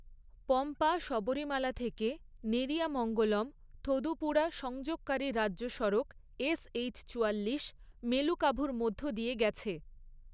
পম্পা, শবরীমালা থেকে নেরিয়ামঙ্গলম, থোদুপুড়া সংযোগকারী রাজ্য সড়ক এসএইচ চুয়াল্লিশ মেলুকাভুর মধ্য দিয়ে গেছে।